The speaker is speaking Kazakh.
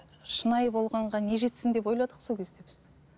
шынайы болғанға не жетсін деп ойладық сол кезде біз